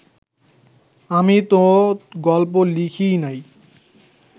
আমি তো গল্প লিখিই নাই